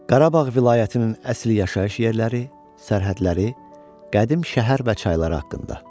Qarabağ vilayətimin əsl yaşayış yerləri, sərhədləri, qədim şəhər və çaylar haqqında.